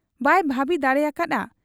ᱵᱟᱭ ᱵᱷᱟᱹᱵᱤ ᱫᱟᱲᱮ ᱟᱠᱟ ᱦᱟᱫ ᱟ ᱾